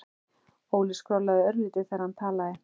Óli skrollaði örlítið þegar hann talaði.